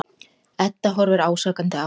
Edda horfir ásakandi á hann.